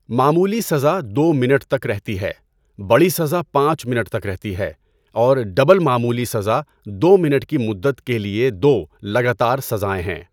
معمولی سزا دو منٹ تک رہتی ہے، بڑی سزا پانچ منٹ تک رہتی ہے، اور ڈبل معمولی سزا دو منٹ کی مدت کے لئے دو لگاتار سزائے ہیں۔